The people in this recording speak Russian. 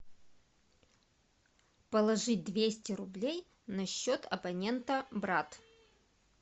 положить двести рублей на счет абонента брат